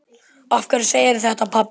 Af hverju segirðu þetta, pabbi?